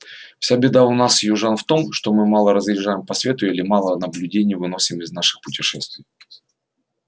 вся беда у нас южан в том что мы мало разъезжаем по свету или мало наблюдений выносим из наших путешествий